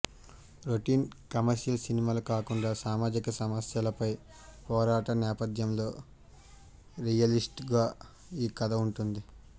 routine commercial సినిమాలా కాకుండా సామాజిక సమస్యలపై పోరాటం నేపథ్యంలో రియలిస్టిక్ గా ఈ కథ ఉంటుంది